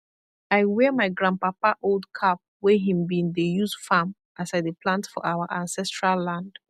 i wear my grandpapa old cap wey him been dey use farm as i dey plant for our ancestral land